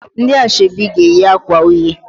Ndị ashebi ga-eyi akwa uhie